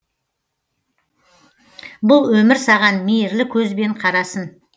бұл өмір саған мейірлі көзбен қарасын